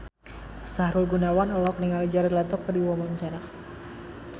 Sahrul Gunawan olohok ningali Jared Leto keur diwawancara